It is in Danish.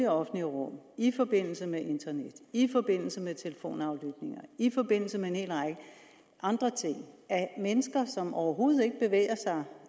offentlige rum i forbindelse med internet i forbindelse med telefonaflytninger i forbindelse med en hel række andre ting er mennesker som overhovedet ikke bevæger sig